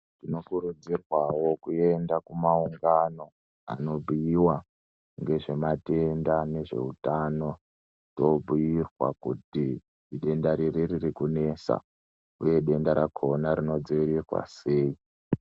Tinokurudzirwawo kuenda kumaungano anobhuiwa ngezvematenda nezveutano toobhuirwa kuti idenda riri ririkunesa uye denda rakona rinodziirirwa sei.